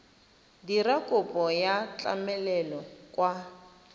dira kopo ya tlamelo kwa